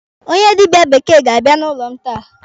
Onye dịbịa bekee ga-abịa n'ụlọ m taa.